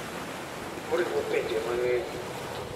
Oriwo pinje mang'eny.